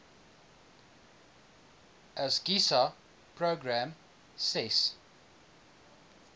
asgisa program ses